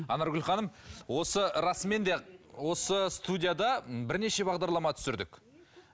анаргүл ханым осы расымен де осы студияда бірнеше бағдарлама түсірдік